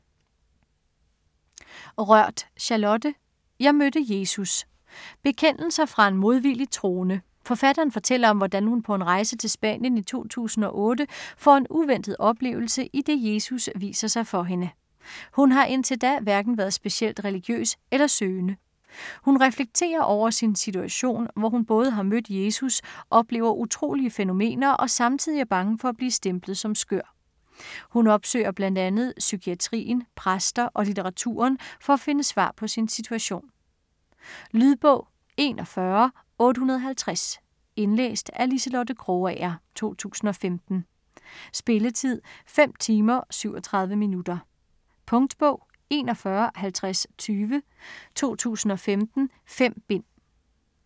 Rørth, Charlotte: Jeg mødte Jesus Bekendelser fra en modvilligt troende. Forfatteren fortæller om hvordan hun på en rejse til Spanien i 2008 får en uventet oplevelse, idet Jesus viser sig for hende. Hun har indtil da hverken været specielt religiøs eller søgende. Hun reflekterer over sin situation, hvor hun både har mødt Jesus, oplever utrolige fænomener og samtidig er bange for at blive stemplet som skør. Hun opsøger bl.a. psykiatrien, præster og litteraturen, for at finde svar på sin situation. Lydbog 41850 Indlæst af Liselotte Krogager, 2015. Spilletid: 5 timer, 37 minutter. Punktbog 415020 2015. 5 bind.